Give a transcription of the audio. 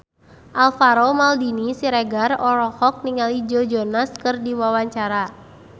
Alvaro Maldini Siregar olohok ningali Joe Jonas keur diwawancara